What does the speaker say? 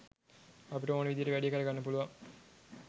අපිට ඕනෙ විදියට වැඩේ කරගන්න පුළුවන්.